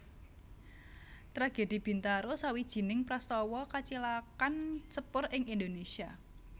Tragedi Bintaro sawijining prastawa kacilakan sepur ing Indonésia